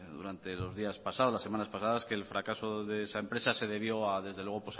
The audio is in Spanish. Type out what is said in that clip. durante los días pasados las semanas pasadas que el fracaso de esa empresa se debió desde luego